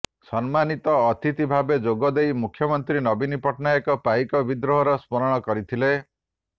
ସମ୍ମାନିତ ଅତିଥି ଭାବେ ଯୋଗଦେଇ ମୁଖ୍ୟମନ୍ତ୍ରୀ ନବୀନ ପଟ୍ଟନାୟକ ପାଇକ ବିଦ୍ରୋହର ସ୍ମରଣ କରିଥିଲେ